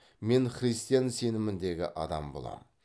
мен христиан сеніміндегі адам болам